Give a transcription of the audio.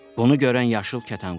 Bunu görən yaşıl kətan quşu dedi.